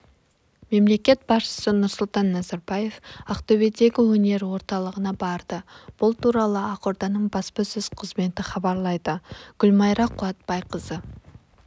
мемлекет басшысы нұрсұлтан назарбаев ақтөбедегі өнер орталығына барды бұл туралы ақорданың баспасөз қызметі хабарлайды гүлмайра қуатбайқызы